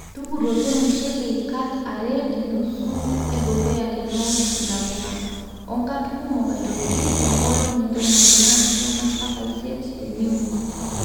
tukuroki olmushele kaat are tenusu edukuya tenewosh ntapuka, oo nkaat kumok aitoki too nkolongi ntomoni naapisha mpaka isiet teniun